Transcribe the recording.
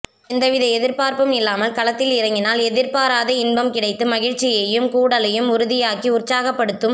எந்தவித எதிர்பார்ப்பும் இல்லாமல் களத்தில் இறங்கினால் எதிர்பாராத இன்பம் கிடைத்து மகிழ்ச்சியையும் கூடலையும் உறுதியாக்கி உற் சாகப்படுத்தும்